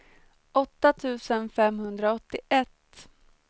åtta tusen femhundraåttioett